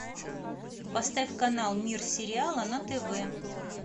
поставь канал мир сериала на тв